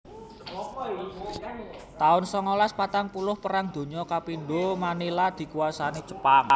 taun songolas patang puluh Perang Donya kapindho Manila dikuwasani Jepang